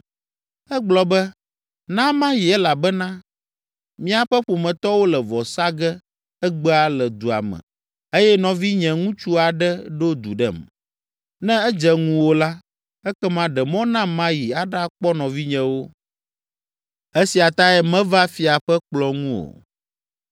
Egblɔ be, ‘Na mayi elabena míaƒe ƒometɔwo le vɔ sa ge egbea le dua me eye nɔvinyeŋutsu aɖe ɖo du ɖem. Ne edze ŋuwò la, ekema ɖe mɔ nam mayi aɖakpɔ nɔvinyewo.’ Esia tae meva fia ƒe kplɔ̃ ŋu o.”